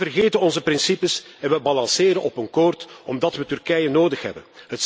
Wij vergeten onze principes en we balanceren op een slap koord, omdat we Turkije nodig hebben.